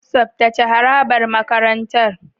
Tsaftace harabar makarantar.